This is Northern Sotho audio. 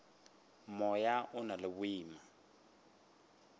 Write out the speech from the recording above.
moya o na le boima